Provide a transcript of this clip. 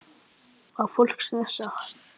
Var fólk stressað?